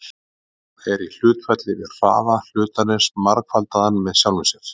Hún er í hlutfalli við hraða hlutarins margfaldaðan með sjálfum sér.